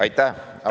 Aitäh!